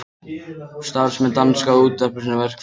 Starfsmenn danska útvarpsins í verkfall